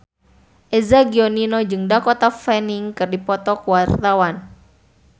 Eza Gionino jeung Dakota Fanning keur dipoto ku wartawan